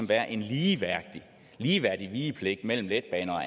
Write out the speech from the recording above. være en ligeværdig ligeværdig vigepligt mellem letbaner